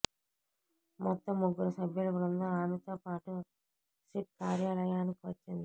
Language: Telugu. మొత్తం ముగ్గురు సభ్యుల బృందం ఆమెతోపాటు సిట్ కార్యాలయానికి వచ్చింది